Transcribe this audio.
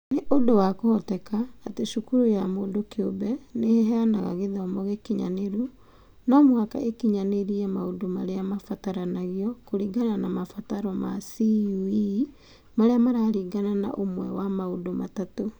Nĩ ũndũ wa kũhoteka atĩ cukuru ya mũndũ kĩũmbe nĩ ĩheanaga gĩthomo gĩkinyanĩru, no mũhaka ĩkinyanĩrie maũndũ marĩa matabataranio kũringana na mabataro ma CUE marĩa mararingana na ũmwe wa maũndũ matatũ.